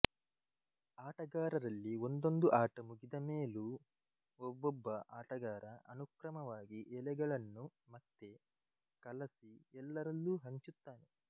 ಆಟಗಾರರಲ್ಲಿ ಒಂದೊಂದು ಆಟ ಮುಗಿದ ಮೇಲೂ ಒಬೊಬ್ಬ ಆಟಗಾರ ಅನುಕ್ರಮವಾಗಿ ಎಲೆಗಳನ್ನು ಮತ್ತೆ ಕಲಸಿ ಎಲ್ಲರಲ್ಲೂ ಹಂಚುತ್ತಾನೆ